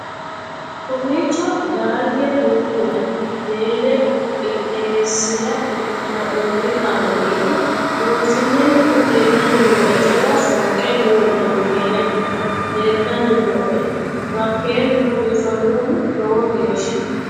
kowiicho daaye noolla hotele qooxeessira haa'nonni kaameli dolfiiinennihu leellanni nooe jawa fooqe noola hoteleti leeltanni nooe makeenuno biifannoho lowo geesha